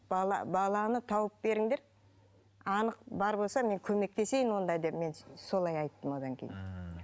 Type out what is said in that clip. баланы тауып беріңдер анық бар болса мен көмектесейін онда деп мен солай айттым одан кейін ммм